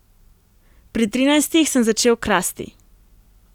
Pri trinajstih sem začel krasti.